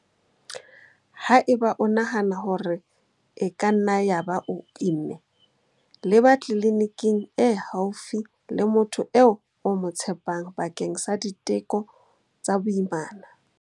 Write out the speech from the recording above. Haeba o nahana hore e ka nna ya ba o imme, leba tleliniking e haufi le motho eo o mo tshepang bakeng sa diteko tsa boimana.